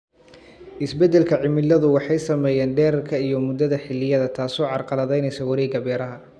Isbeddelka cimiladu waxay saameeyaan dhererka iyo muddada xilliyada, taasoo carqaladaynaysa wareegga beeraha.